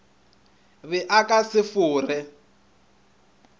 be a ka se fore